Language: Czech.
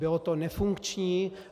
Bylo to nefunkční.